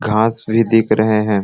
घास भी दिख रहे है।